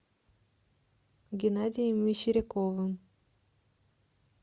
геннадием мещеряковым